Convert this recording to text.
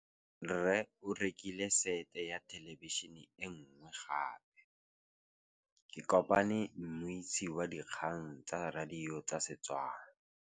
Rre o rekile sete ya thêlêbišênê e nngwe gape. Ke kopane mmuisi w dikgang tsa radio tsa Setswana.